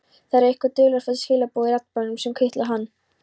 Það eru einhver dularfull skilaboð í raddblænum sem kitla hann.